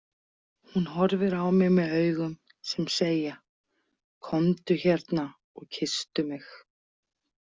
Hún horfir á mig með augum sem segja: Komdu hérna og kysstu mig.